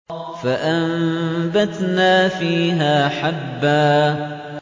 فَأَنبَتْنَا فِيهَا حَبًّا